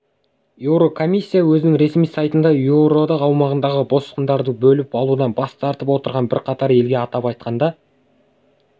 еурокомиссия өзінің ресми сайтында еуроодақ аумағындағы босқындарды бөліп алудан бас тартып отырған бірқатар елге атап айтқанда